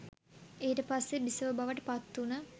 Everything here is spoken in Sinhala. ඊට පස්සෙ බිසව බවට පත් වුන